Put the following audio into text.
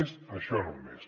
és això només